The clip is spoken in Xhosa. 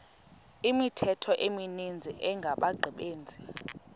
imithqtho emininzi engabaqbenzi